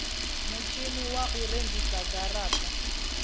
mutshini wa u rengisa garata